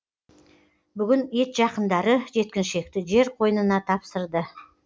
бүгін ет жақындары жеткіншекті жер қойнына тапсырды